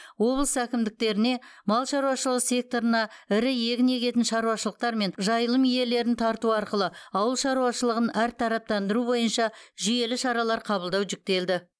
облыс әкімдіктеріне мал шаруашылығы секторына ірі егін егетін шаруашылықтар мен жайылым иелерін тарту арқылы ауыл шаруашылығын әртараптандыру бойынша жүйелі шаралар қабылдау жүктелді